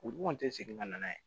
U kɔni tɛ segin ka na n'a ye